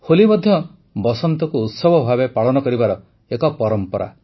ହୋଲି ମଧ୍ୟ ବସନ୍ତକୁ ଉତ୍ସବ ଭାବେ ପାଳନ କରିବାର ଏକ ପରମ୍ପରା